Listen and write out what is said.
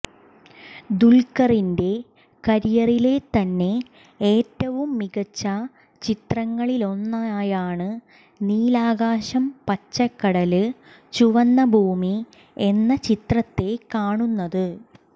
ദുല്ഖറിന്റെ കരിയറിലെ തന്നെ ഏറ്റവും മികച്ച ചിത്രങ്ങളിലൊന്നായാണ് നീലാകാശം പച്ചക്കടല് ചുവന്ന ഭൂമി എന്ന ചിത്രത്തെ കാണുന്നത്